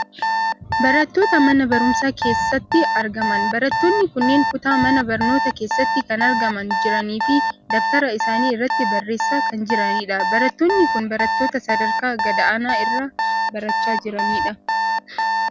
Barattoota mana barumsaa keessatti argaman. Barattoonni kunneen kutaa mana barnootaa keessatti kan argamaa jiranii fi dabtara isaanii irratti barreessaa kan jiranidha. Barattoonni kun barattoota sadarkaa gad aanaa irraa barachaa jiranidha.